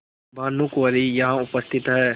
भानुकुँवरि यहाँ उपस्थित हैं